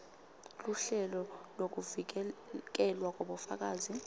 luhlelo lwekuvikelwa kwabofakazi